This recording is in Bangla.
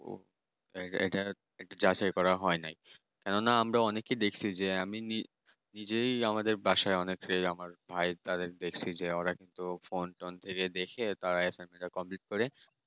এটা এটা যাচাই করা হয়নি। যে আমি নিজেই আমাদের বাসিকে আমার ভাই তাদের দেখছি যে ওরা ফোনটোন থেকে দেখে তারা assignment এ complete করে